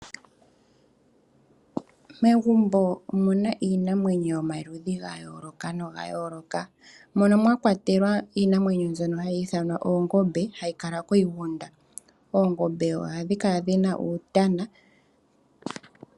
Megumbo omuna iinamwenyo yomaludhi ga yooloka noga yooloka mono mwa kwatelwa iinamwenyo mbyono hayi ithanwa oongombe hayi kala kiigunda. Oongombe ohadhi kala dhina uutana.